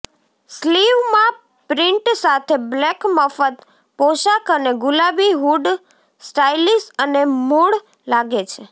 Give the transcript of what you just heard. સ્લીવમાં print સાથે black મફત પોશાક અને ગુલાબી હૂડ સ્ટાઇલિશ અને મૂળ લાગે છે